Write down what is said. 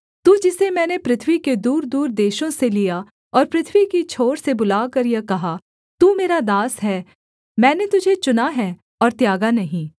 तू जिसे मैंने पृथ्वी के दूरदूर देशों से लिया और पृथ्वी की छोर से बुलाकर यह कहा तू मेरा दास है मैंने तुझे चुना है और त्यागा नहीं